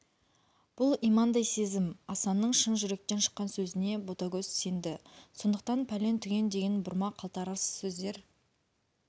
бұл имандай сезім асанның шын жүректен шыққан сөзіне ботагөз сенді сондықтан пәлен-түген деген бұрма қалтарыс сездер